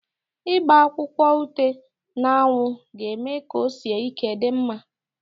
Ịgba akwụkwọ ute n'anwụ ga-eme ka o sie ike dị mma.